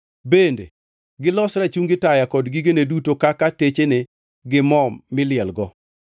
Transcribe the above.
bende gilos rachungi taya kod gigene duto kaka techene gi mo milielgo;